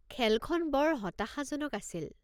খেলখন বৰ হতাশাজনক আছিল।